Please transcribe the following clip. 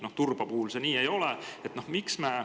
Turba puhul see nii ei ole.